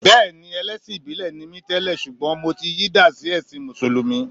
Bẹ́ẹ̀ni, ẹlẹ́sìn ìbílẹ̀ ni mi tẹ́lẹ̀ ṣùgbọ́n mo ti yí dà sí ẹ̀sin Mùsùlùmí